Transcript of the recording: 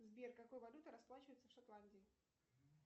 сбер какой валютой расплачиваются в шотландии